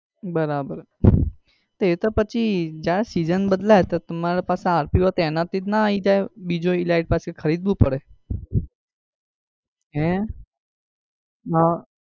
બરાબર એતો પછી જયારે season બદલાય તો તમારા પાસે rpo હોય તો એમાંથી જ ના આવી જાય કે બીજો elite પાસ કે ખરીદવું પાસે?